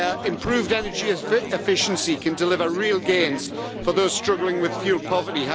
Improved energy efficiency can deliver real gains for those struggling with fuel poverty.